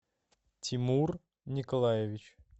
тимур николаевич